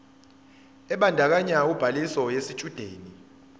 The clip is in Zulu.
ebandakanya ubhaliso yesitshudeni